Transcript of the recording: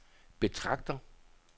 betragter